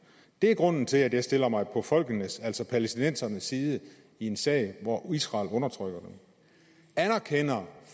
det er grunden til at jeg stiller mig på folkenes altså palæstinensernes side i en sag hvor israel undertrykker dem anerkender